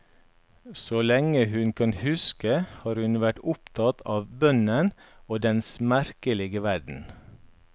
Så lenge hun kan huske har hun vært opptatt av bønnen og dens merkelige verden.